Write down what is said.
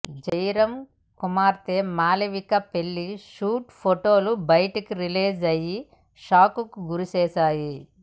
జయరాం కుమార్తె మాలవిక పెళ్లి షూట్ ఫొటోలు బయటకు రిలీజ్ అయ్యి షాక్ కు గురిచేశాయి